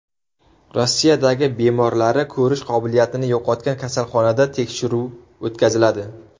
Rossiyadagi bemorlari ko‘rish qobiliyatini yo‘qotgan kasalxonada tekshiruv o‘tkaziladi.